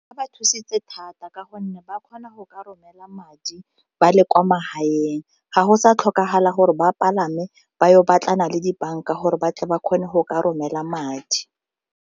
Ba ba thusitse thata ka gonne ba kgona go ka romela madi ba le kwa magaeng ga go sa tlhokagala gore ba palame ba yo batlana le dibanka gore ba tle ba kgone go ka romela madi.